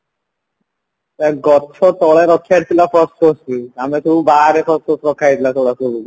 ଗଛ ତଳେ ରଖିବାର ଥିଲା ବି ଆମେ ସବୁ ବାହାରେ ରଖା ଯାଇଥିଲା